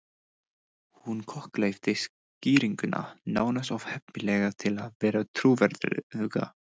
Hún kokgleypti skýringuna, nánast of heppilega til að vera trúverðuga.